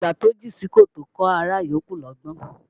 Àgbà tó jìn sí kòtò kọ́ ará yòókù lọ́gbọ́n